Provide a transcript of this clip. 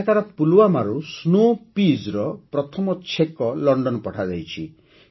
ଏଠାକାର ପୁଲୱାମାରୁ Snow Peasର ପ୍ରଥମ ଛେକ ଲଣ୍ଡନ ପଠାଯାଇଛି